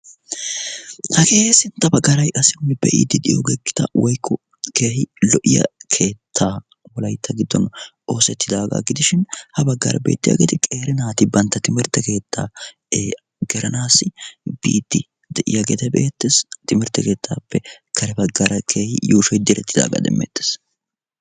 Hagee sintta baggaara nu be'iidi diyoove gitaa woykko lo"iyaa keettaa wolaytta giddon oosettidaaga gidishin ha baggaara beettiyaageeti qeeri naati bantta timirtte keettaa gelanassi biidi de'iyaageeti beettees. Timirtte leettappe karw baggaara keehi yuushshoy direttidaaga demmetees.